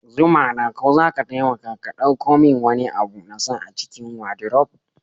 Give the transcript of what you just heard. Zumana ko zaka taimaka ka ɗauko min wani abu na sa a cikin wadiruf?